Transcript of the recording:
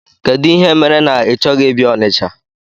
Kedụ ihe mere na ị chọghị ịbịa Ọnịcha?